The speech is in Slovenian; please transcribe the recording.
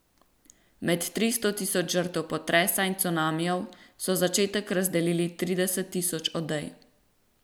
Med tristo tisoč žrtev potresa in cunamijev so za začetek razdelili trideset tisoč odej.